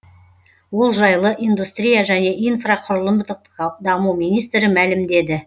ол жайлы индустрия және инфрақұрылымдық даму министрі мәлімдеді